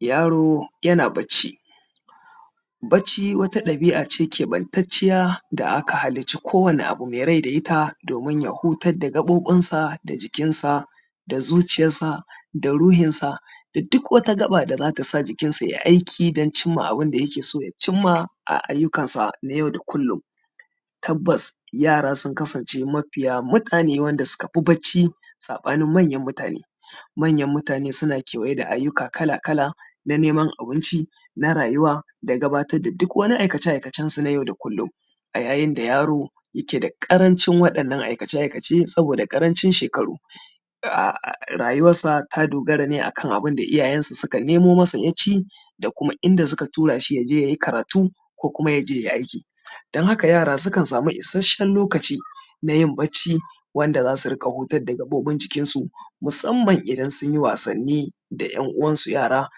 Yaro yana bacci, bacci wani ɗabi'a ce ƙeɓattanciya da aka halicci ko wani abun rai da ita domin ya hutassar da gabobinsa da jikinsa da zuciyarsa da ruhinsa da duk wata gaba da za tasa jikin sa tai aki wa ɗomin cin ma abun da yake so ya cimma a ayyukansa na yau da kullum tabbas yara sun kam sa natawatu wadanda suka fi yin bacci saɓanin manyan mutane, mayan mutane suna kewaye da abubbuwa kala-kala na neman abinci na rayuwa da gabatar da duk wani aikace-aikacensu na yau da kullum a yayin da yaro yake da ƙarancin waɗannan aikace-aikace saboda ƙarancin shekaru rayuwansa ta dogara ne akan abunda iyayansa suka nemo masa ya ci da kuma inda suka tura shi ya je ya yi karatu kuma ya je ai aiki dan haƙa yara sukan samu ishashshen lokacin na yin bacci wanda za su dinga hutar da gabobin jikinsu musamman inda sun yi wasanni da yan uwansu yara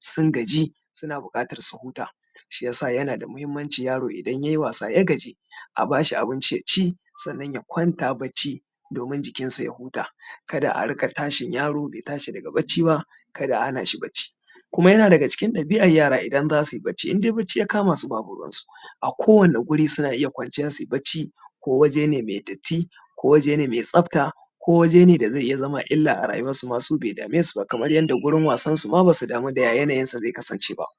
sun gaji suna buƙatar su huta shi yasa yana da matuƙar mahinimanci dan yaro ya yi wasa ya gaji a ba su abinci sannan ya kwanta bacci domin jikinsa ya huta kada a dinga tashin yaro be tashi da bacci ba kada a hana shi bacci kuma yana dan cikin ɗabin yara kada a hana su bacci indai bacci ya kama su ba ruwansu akowani wuri suna iya kwanciya bacci ko waje ne mai bacci ko waje ne mai tsafta ko waje ne da ze iya zama illa a rayuwansu ma suma su be dame su ba kamar yadda wurin rayuwarsu ma ba su damu ya yaniyin sa ze kasance ba.